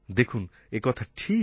দেখুন এই কথা ঠিক